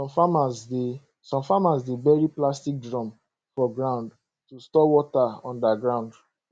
some farmers dey some farmers dey bury plastic drum for ground to store water under ground